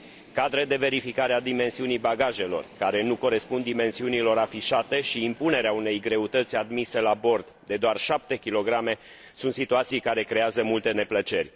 Cadre de verificare a dimensiunii bagajelor care nu corespund dimensiunilor afișate și impunerea unei greutăți admise la bord de doar 7 kg sunt situații care creează multe neplăceri.